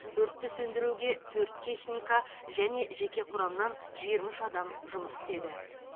өртті сөндіруге төрт техника және жеке құрамнан жиырма үш адам жұмыс істеді